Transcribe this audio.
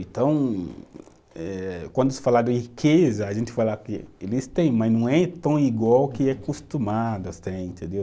Então, eh quando se fala de riqueza, a gente fala que eles têm, mas não é tão igual o que é acostumado, assim, entendeu?